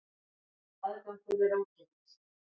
Aðgangur er ókeypis